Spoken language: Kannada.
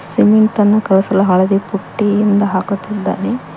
ಸಿಮೆಂಟನ್ನು ಕಲಸಲು ಹಳದಿ ಪುಟ್ಟಿಯಿಂದ ಹಾಕುತ್ತಿದ್ದಾರೆ.